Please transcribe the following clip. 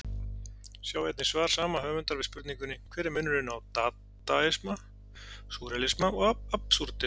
Sjá einnig svar sama höfundar við spurningunni Hver er munurinn á dadaisma, súrrealisma og absúrdisma?